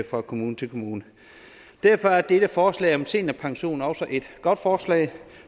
fra kommune til kommune derfor er dette forslag om seniorpension også et godt forslag